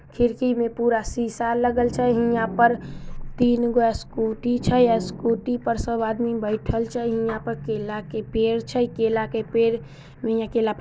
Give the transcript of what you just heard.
खिड़की में पूरा शीशा लगल छै हिंया पर तीनगो स्कूटी छै या स्कूटी पे सब आदमी बैठल छई हिंया पर केला के पेड़ छै केला के पेड़ में--